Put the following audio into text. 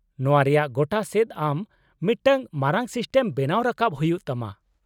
-ᱱᱚᱶᱟ ᱨᱮᱭᱟᱜ ᱜᱚᱴᱟ ᱥᱮᱫ ᱟᱢ ᱢᱤᱫᱴᱟᱝ ᱢᱟᱨᱟᱝ ᱥᱤᱥᱴᱮᱢ ᱵᱮᱱᱟᱣ ᱨᱟᱠᱟᱵ ᱦᱩᱭᱩᱜ ᱛᱟᱢᱟ ᱾